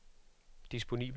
disponibel